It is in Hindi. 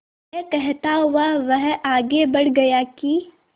यह कहता हुआ वह आगे बढ़ गया कि